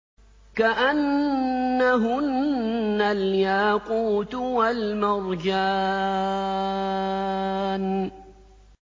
كَأَنَّهُنَّ الْيَاقُوتُ وَالْمَرْجَانُ